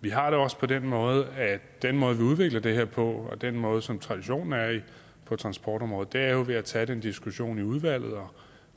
vi har det også på den måde at den måde vi udvikler det her på og den måde som traditionen på transportområdet er på jo er ved at tage den diskussion i udvalget og